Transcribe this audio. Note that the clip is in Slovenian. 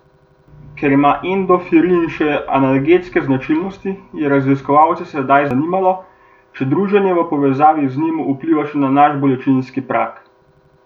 Ker ima endofrin še analgetske značilnosti, je raziskovalce sedaj zanimalo, če druženje v povezavi z njim vpliva še na naš bolečinski prag.